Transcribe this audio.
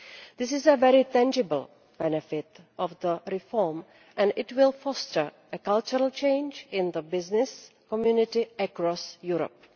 This is a very tangible benefit of the reform and it will foster a cultural change in the business community across Europe.